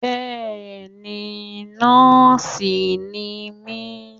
Bẹ́ẹ̀ni nóòsì ni mí